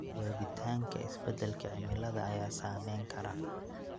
Joogitaanka isbeddelka cimilada ayaa saameyn kara.